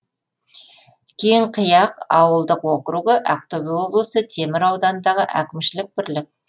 кеңқияқ ауылдық округі ақтөбе облысы темір ауданындағы әкімшілік бірлік